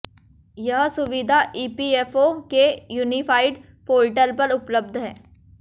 यह सुविधा ईपीएफओ के यूनिफाइड पोर्टल पर उपलब्ध है